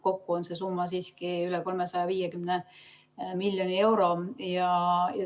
Kokku on see summa siiski üle 350 miljoni euro.